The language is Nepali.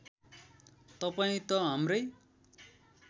तपाईँ त हाम्रै